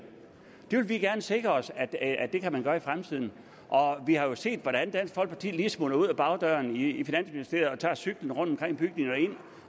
det vil vi gerne sikre os at at man kan gøre i fremtiden og vi har set hvordan dansk folkeparti lige smutter ud af bagdøren i finansministeriet og tager cyklen rundtomkring bygningen